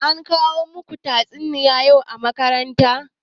Ankoya muku tatsuniya yau a makaranta?